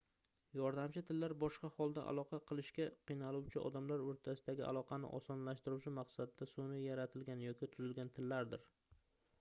yordamchi tillar boshqa holda aloqa qilishga qiynaluvchi odamlar oʻrtasidagi aloqani osonlashtirish maqsadida sunʼiy yaratilgan yoki tuzilgan tillardir